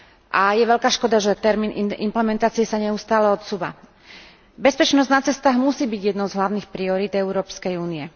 A je veľká škoda, že termín implementácie sa neustále odsúva. Bezpečnosť na cestách musí byť jednou z hlavných priorít Európskej únie.